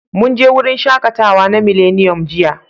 Mun je wurin shaƙatawa na Miliniyom jiya.